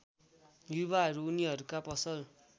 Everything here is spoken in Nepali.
युवाहरू उनीहरूका पसल